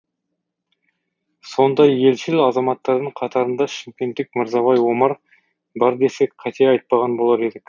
сондай елшіл азаматтардың қатарында шымкенттік мырзабай омар бар десек қате айтпаған болар едік